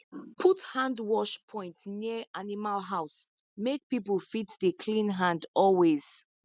put hand wash point near animal house make people fit dey clean hand always